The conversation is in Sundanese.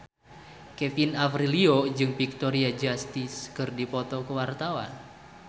Kevin Aprilio jeung Victoria Justice keur dipoto ku wartawan